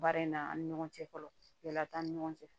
Baara in na an ni ɲɔgɔn cɛ fɔlɔ yala t'an ni ɲɔgɔn cɛ